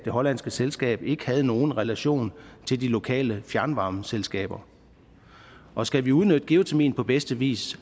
hollandske selskab ikke havde nogen relation til de lokale fjernvarmeselskaber og skal vi udnytte geotermi på bedste vis